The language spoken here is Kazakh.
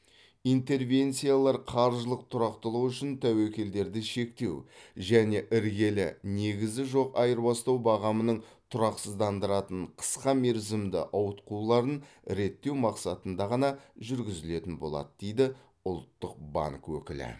интервенциялар қаржылық тұрақтылық үшін тәуекелдерді шектеу және іргелі негізі жоқ айырбастау бағамының тұрақсыздандыратын қысқа мерзімді ауытқуларын реттеу мақсатында ғана жүргізілетін болады дейді ұлттық банк өкілі